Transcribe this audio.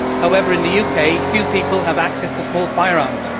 However, in the UK few people have access to small firearms.